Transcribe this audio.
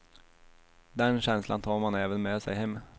Den känslan tar man även med sig hem.